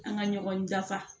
An ka ɲɔgɔn dafa